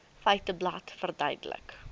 feiteblad verduidelik